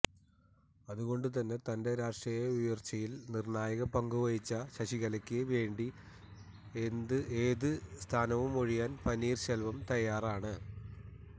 അതുകൊണ്ട് തന്നെ തന്റെ രാഷ്ട്രീയ ഉയർച്ചയിൽ നിർണ്ണായക പങ്കുവഹിച്ച ശശികലയ്ക്ക് വേണ്ടി ഏത് സ്ഥാനവും ഒഴിയാൻ പനീർസെൽവം തയ്യാറാണ്